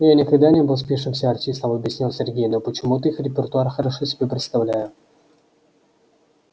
я никогда не был спившимся артистом объяснил сергей но почему-то их репертуар хорошо себе представляю